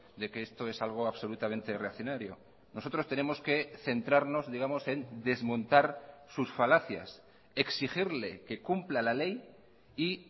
de que esto es algo absolutamente reaccionario nosotros tenemos que centrarnos digamos en desmontar sus falacias exigirle que cumpla la ley y